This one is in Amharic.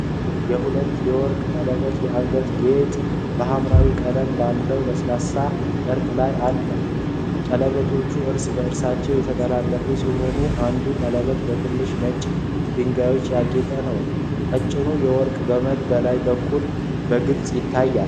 የሁለት የወርቅ ቀለበቶች የአንገት ጌጥ በሀምራዊ ቀለም ባለው ለስላሳ ጨርቅ ላይ አለ። ቀለበቶቹ እርስ በእርሳቸው የተጠላለፉ ሲሆኑ፣ አንዱ ቀለበት በትንሽ ነጭ ድንጋዮች ያጌጠ ነው። ቀጭኑ የወርቅ ገመድ ከላይ በኩል በግልጽ ይታያል።